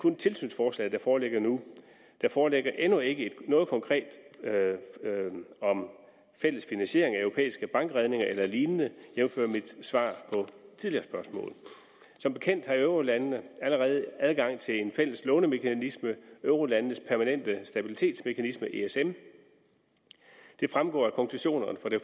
kun tilsynsforslaget der foreligger nu der foreligger endnu ikke noget konkret om fælles finansiering af europæiske bankredninger eller lignende jævnfør mit svar på tidligere spørgsmål som bekendt har eurolandene allerede adgang til en fælles lånemekanisme eurolandenes permanente stabilitetsmekanisme esm det fremgår af konklusionerne fra det